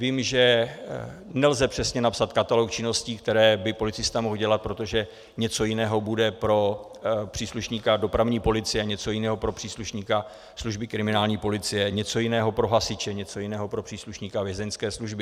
Vím, že nelze přesně napsat katalog činností, které by policista mohl dělat, protože něco jiného bude pro příslušníka dopravní policie, něco jiného pro příslušníka služby kriminální policie, něco jiného pro hasiče, něco jiného pro příslušníka vězeňské služby.